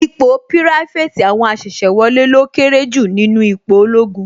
Ipò pirafeti àwọn asese wọlé lọ kéré jù nínú ipò ológun